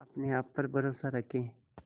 अपने आप पर भरोसा रखें